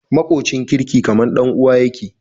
Makocin kirki kaman dan uwa yake